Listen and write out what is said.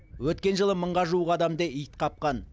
өткен жылы мыңға жуық адамды ит қапқан